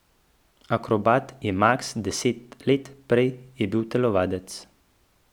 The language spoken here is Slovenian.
Akrobat je Maks deset let, prej je bil telovadec.